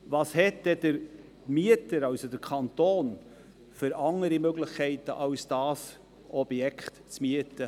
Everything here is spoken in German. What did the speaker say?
Welche anderen Möglichkeiten hat dann der Mieter, also der Kanton, als dieses Objekt zu mieten?